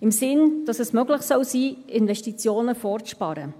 im Sinne, dass es möglich sein soll, Investitionen vorzusparen.